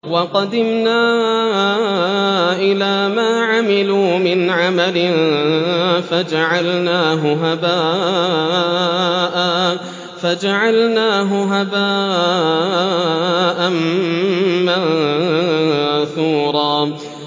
وَقَدِمْنَا إِلَىٰ مَا عَمِلُوا مِنْ عَمَلٍ فَجَعَلْنَاهُ هَبَاءً مَّنثُورًا